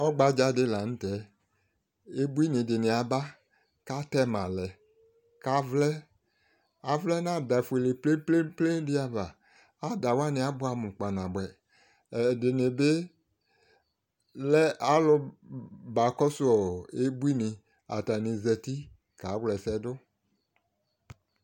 Ɔgbadzaadɩ la n'tɛ, ebuini dɩnɩ aba k'atɛmalɛ, k'avlɛ, avlɛ n'ada fuele plɛplepledɩ ava, adawanɩ abʋɛ amʋ kpanabʋɛ, ɛdɩnɩ bɩ lɛ alʋ bakɔsʋ ɔɔ ebuini Atanɩ zati k'awla ɛsɛdʋ